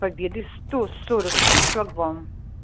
победы сто сорок шесть шлагбаум